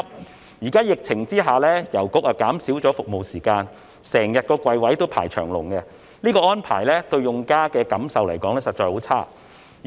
現時在疫情下，郵局減少了服務時間，櫃位經常有很多人輪候，這安排令用家感受十分差。